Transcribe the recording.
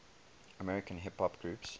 american hip hop groups